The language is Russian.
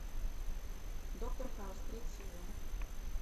доктор хаус третий сезон